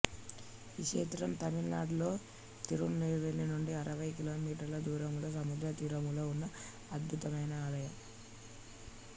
ఈ క్షేత్రం తమిళనాడు లో తిరునెల్వేలి నుండి అరవై కిలోమీటర్ల దూరములో సముద్ర తీరములో ఉన్న అద్భుతమైన ఆలయం